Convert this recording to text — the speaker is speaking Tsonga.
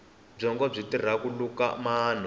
byongo byi tirha ku luka manu